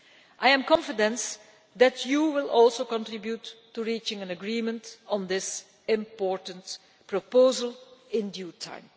I am confident that you will also contribute to reaching an agreement on this important proposal in due time.